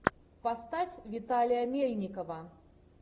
поставь виталия мельникова